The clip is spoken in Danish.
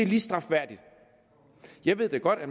lige strafværdigt jeg ved da godt at